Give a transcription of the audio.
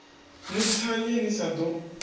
ni thanye ni sa ḓo